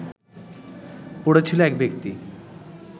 পড়ে ছিলো এক ব্যক্তি